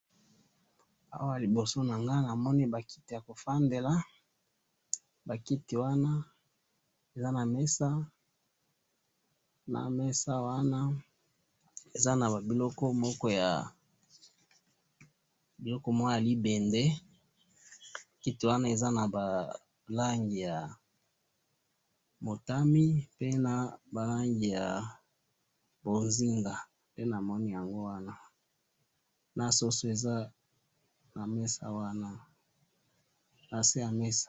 awa liboso na ngai namoni ba kiti yako fandela, ba kiti wana eza na mesa na mesa wana eza na ba biliko moko ya libende, kiti wana na ba langi ya motami pe na ba langi bonzenga, nde namoni yango wana, pe soso eza na mesa wana, na se ya mesa